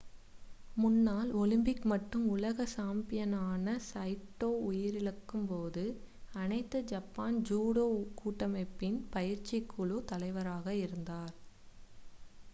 முன்னாள் ஒலிம்பிக் மற்றும் உலக சாம்பியனான சைட்டோ உயிரிழக்கும்போது அனைத்து ஜப்பான் ஜூடோ கூட்டமைப்பின் பயிற்சிக்குழு தலைவராக இருந்தார்